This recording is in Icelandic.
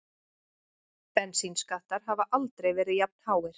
Bensínskattar hafa aldrei verið jafnháir